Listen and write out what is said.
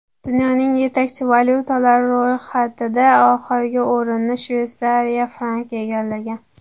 Dunyoning yetakchi valyutalari ro‘yxatida oxirgi o‘rinni Shveysariya franki egallagan.